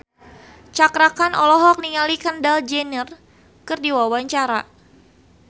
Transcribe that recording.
Cakra Khan olohok ningali Kendall Jenner keur diwawancara